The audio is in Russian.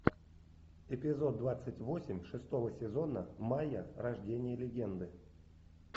эпизод двадцать восемь шестого сезона майя рождение легенды